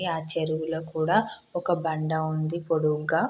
ఆ చెరువులో కూడా ఒక బండ ఉంది పొడుగ్గా.